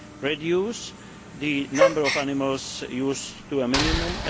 reduce the number of animals used to a minimum